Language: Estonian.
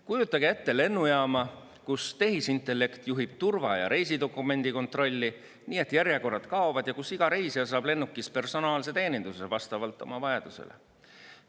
Kujutage ette lennujaama, kus tehisintellekt juhib turva‑ ja reisidokumendi kontrolli, nii et järjekorrad kaovad, ja kus iga reisija saab lennukis personaalse teeninduse vastavalt oma vajadustele.